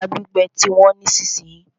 Ẹja gbígbẹ ti wọ́n nísìsiyìí.